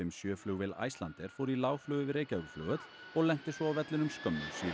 sjö flugvél Icelandair flaug í lágflugi yfir Reykjavíkurflugvöll og lenti svo á vellinum skömmu síðar